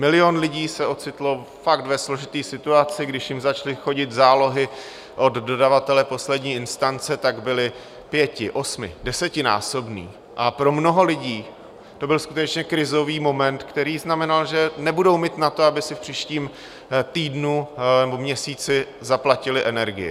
Milion lidí se ocitl fakt ve složité situaci, když jim začaly chodit zálohy od dodavatele poslední instance, tak byly pěti-, osmi-, desetinásobné a pro mnoho lidí to byl skutečně krizový moment, který znamenal, že nebudou mít na to, aby si v příštím týdnu nebo měsíci zaplatili energii.